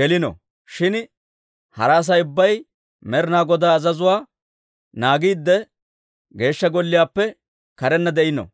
gelino; shin hara Asay ubbay Med'inaa Godaa azazuwaa naagiidde, Geeshsha Golliyaappe karenna de'ino.